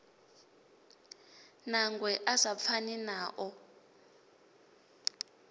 nangwe a sa pfani nao